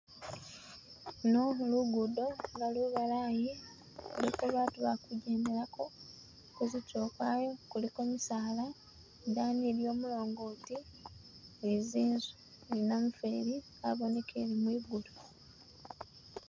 Ano lugudo, nga lubalayi, luliko batu ba kugyendelako, kuzitulo kwayo kuliko misaala, idaani iliyo mulongoti, ni zinzu ni namufweli abonekele mwigulu